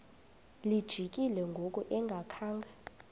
lijikile ngoku engakhanga